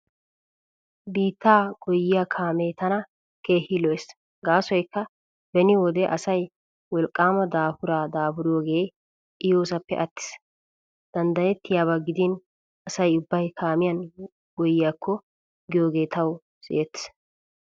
Biittaa goyyiyaa kaamee tana keehi lo'ees gaasoykka beni wode asay wolqqaama daafuraa daafuriyoogee I yoosappe attiis. Danddayettiyaaba gidin asay ubbay kaamiyan goyyiyaakko giyoogee tawu siyettees.